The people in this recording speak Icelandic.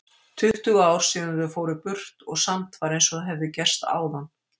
Tuttugu ár síðan þau fóru burt og samt var einsog það hefði gerst áðan.